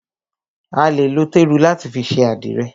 A lè lo téru láti fi ṣe àdìrẹ̀.